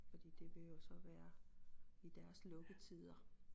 Fordi det vil jo så være i deres lukketider